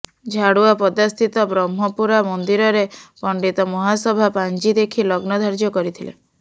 ଝାଡୁଆପଦାସ୍ଥିତ ବ୍ରହ୍ମପୁରା ମନ୍ଦିରରେ ପଣ୍ଡିତ ମହାସଭା ପାଞ୍ଜି ଦେଖି ଲଗ୍ନ ଧାର୍ଯ୍ୟ କରିଥିଲେ